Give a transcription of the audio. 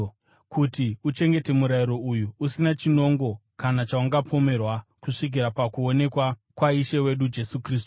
kuti uchengete murayiro uyu, usina chinongo kana chaungapomerwa kusvikira pakuonekwa kwaIshe wedu Jesu Kristu,